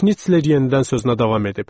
Şnitsler yenidən sözünə davam edib.